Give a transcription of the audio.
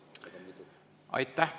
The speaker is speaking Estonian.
Aitäh!